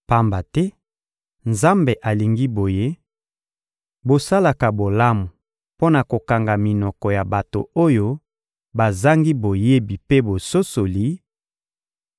Pamba te, Nzambe alingi boye: bosalaka bolamu mpo na kokanga minoko ya bato oyo bazangi boyebi mpe bososoli;